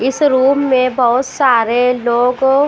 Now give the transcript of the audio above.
इस रूम में बहुत सारे लोग--